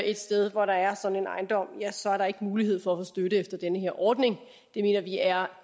et sted hvor der er sådan en ejendom ja så er der ikke mulighed for støtte efter den her ordning det mener vi er